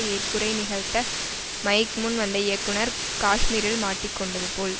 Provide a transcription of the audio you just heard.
ஏற்புரை நிகழ்த்த மைக் முன் வந்த இயக்குனர் காஷ்மீரில் மாட்டிக் கொண்டது போல்